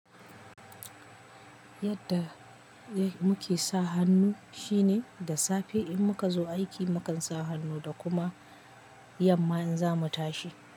Yadda muke sa hannu shine da safe in muka zo aiki mukan sa hannu da kuma yamma in za mu tashi.